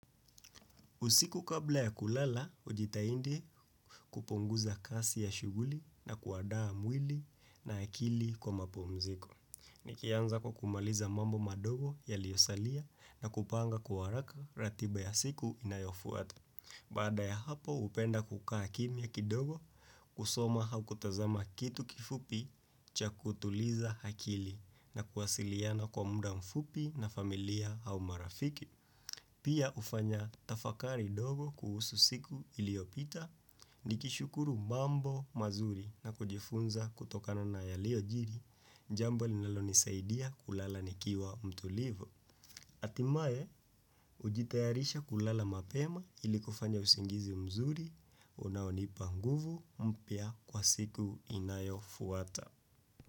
Usiku kabla ya kulala, hujitaindi kupunguza kasi ya shuguli na kuandaa mwili na akili kwa mapumziko. Nikianza kwa kumaliza mambo madogo yaliyosalia na kupanga kwa haraka ratiba ya siku inayofuata. Bada ya hapo, upenda kukaa kimya kidogo, kusoma au kutazama kitu kifupi cha kutuliza akili na kuwasiliana kwa muda mfupi na familia au marafiki. Pia hufanya tafakari dogo kuhusu siku iliopita, nikishukuru mambo mazuri na kujifunza kutokano na yaliojiri, jambo linalonisaidia kulala nikiwa mtulivu Atimaye, hujitayarisha kulala mapema ili kufanya usingizi mzuri, unaonipa nguvu mpya kwa siku inayofuata.